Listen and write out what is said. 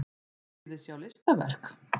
Viljiði sjá listaverk?